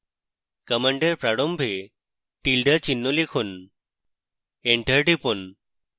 command এর প্রারম্ভে tilda চিহ্ন লিখুন enter টিপুন